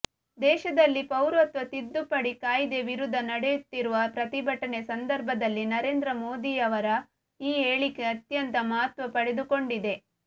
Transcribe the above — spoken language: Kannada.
ದೇಶದಲ್ಲಿ ಪೌರತ್ವ ತಿದ್ದುಪಡಿ ಕಾಯ್ದೆ ವಿರುದ್ಧ ನಡೆಯುತ್ತಿರುವ ಪ್ರತಿಭಟನೆ ಸಂದರ್ಭದಲ್ಲಿ ನರೇಂದ್ರ ಮೋದಿಯವರ ಈ ಹೇಳಿಕೆ ಅತ್ಯಂತ ಮಹತ್ವ ಪಡೆದುಕೊಂಡಿದೆ